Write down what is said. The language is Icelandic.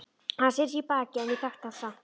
Hann sneri í mig baki en ég þekkti hann samt.